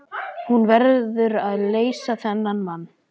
Hún verður að leysa þennan mann.